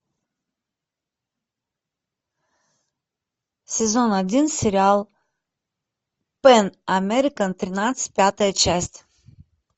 сезон один сериал пэн американ тринадцать пятая часть